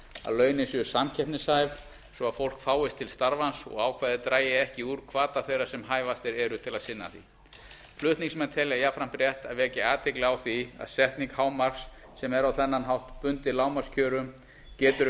að launin séu samkeppnishæf svo að hæft fólk fáist til starfans og ákvæðið dragi ekki úr hvata þeirra sem hæfastir eru til að sinna því flutningsmenn telja jafnframt rétt að vekja athygli á því að setning hámarks sem er á þennan hátt bundið lágmarkskjörum getur